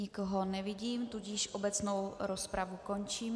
Nikoho nevidím, tudíž obecnou rozpravu končím.